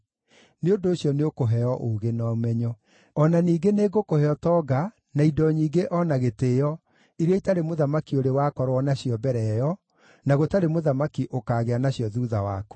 nĩ ũndũ ũcio nĩũkũheo ũũgĩ na ũmenyo. O na ningĩ nĩngũkũhe ũtonga, na indo nyingĩ o na gĩtĩĩo, iria itarĩ mũthamaki ũrĩ wakorwo nacio mbere ĩyo, na gũtarĩ mũthamaki ũkaagĩa nacio thuutha waku.”